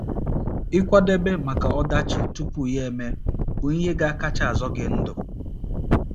Ịkwadebe maka ọdachi tupu ya emee bụ ihe ga - akacha azọ gị ndụ